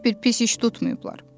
Heç bir pis iş tutmayıblar.